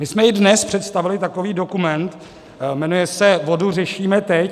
My jsme i dnes představili takový dokument, jmenuje se Vodu řešíme teď.